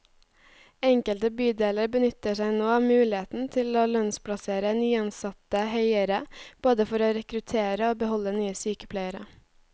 Enkelte bydeler benytter seg nå av muligheten til å lønnsplassere nyansatte høyere, både for å rekruttere og beholde nye sykepleiere.